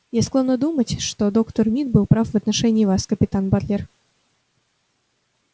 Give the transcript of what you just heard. я склонна думать что доктор мид был прав в отношении вас капитан батлер